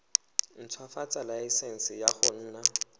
ntshwafatsa laesense ya go nna